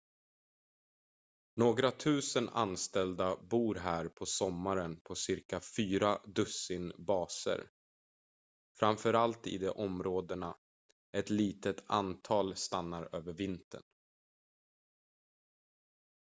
några tusen anställda bor här på sommaren på ca fyra dussin baser framförallt i de områdena ett litet antal stannar över vintern